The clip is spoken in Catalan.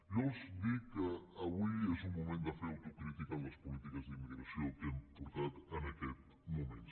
jo els dic que avui és un moment de fer autocrítica en les polítiques d’immigració que hem portat en aquests moments